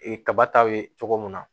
Ee kaba ta ye cogo min na